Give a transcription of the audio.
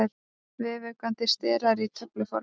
Vefaukandi sterar í töfluformi.